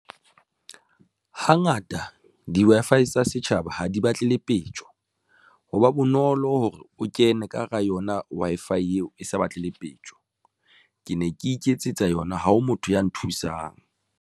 Hangata di-Wi-Fi tsa setjhaba ha di batle lepetjo ho ba bonolo hore o kene ka hara yona Wi-Fi eo e sa batlele peto. Ke ne ke iketsetsa yona ha o motho ya nthusang.